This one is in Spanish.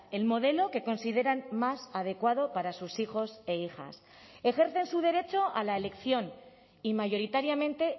el modelo que consideran más adecuado para sus hijos e hijas ejercen su derecho a la elección y mayoritariamente